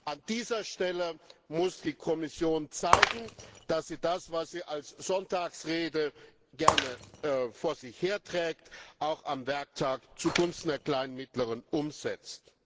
An dieser Stelle muss die Kommission zeigen, dass sie das, was sie als Sonntagsrede gerne vor sich her trägt, auch am Werktag zugunsten der kleinen und mittleren Unternehmen umsetzt.